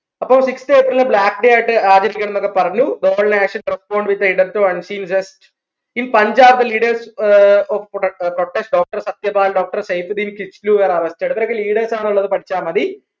അപ്പൊ sixth April black day ആയിട്ട് ആചരിക്കനംനൊക്കെ പറഞ്ഞു in Punjab the leaders are of pro protest Doctor Satyapal doctor Saifuddin Kitchlew were arrested ഇവരൊക്കെ leaders ആണ്ന്നുള്ളത് പഠിച്ച മതി